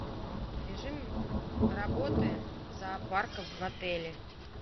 режим работы зоопарка в отеле